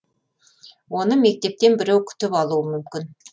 оны мектептен біреу күтіп алуы мүмкін